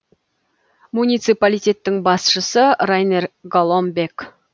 муниципалитеттің басшысы райнер голомбек